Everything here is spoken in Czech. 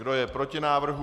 Kdo je proti návrhu?